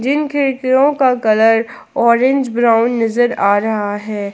जिन खिड़कियों का colour orange brown नजर आ रहा है।